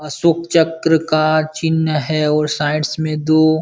अशोक चक्र का चिन्ह है और साइड्स में दो --